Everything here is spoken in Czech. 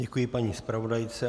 Děkuji paní zpravodajce.